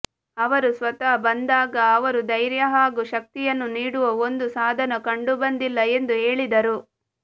ಅವರು ಸ್ವತಃ ಬಂದಾಗ ಅವರು ಧೈರ್ಯ ಹಾಗೂ ಶಕ್ತಿಯನ್ನು ನೀಡುವ ಒಂದು ಸಾಧನ ಕಂಡುಬಂದಿಲ್ಲ ಎಂದು ಹೇಳಿದರು